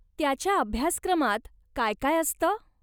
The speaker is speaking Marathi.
त्याच्या अभ्यासक्रमात काय काय असतं?